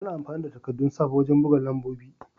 Ana amfani da takaddun sav wajen buga lambobi.